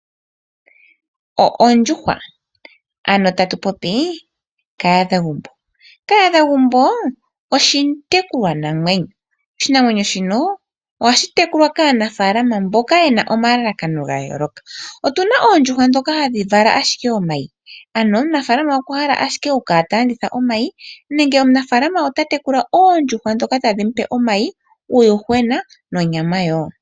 Ondjuhwa Kahadhagumbo oshitekulwanamwenyo. Oshinamwenyo shino ohashi tekulwa kaanafaalama mboka ye na omalakano ga yooloka. Otu na oondjuhwa ndhoka hadhi vala ashike omayi, ano omunafaalama okwa hala ashike okukala ta landitha omayi nenge omunafaalama ota tekula oondjuhwa ndhoka tadhi mu pe omayi, uuyuhwena nonyama woo.